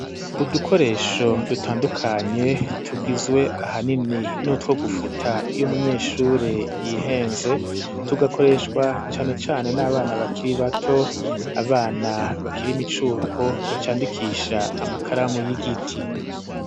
Udukoresho dutandukanye tugizwe ahanini n'utwo gufuta iyo umunyeshure yihenze tugakoreshwa cane cane n'abana bakiri bato abana bakiri imicuko bacandikisha amakaramu y'igiti.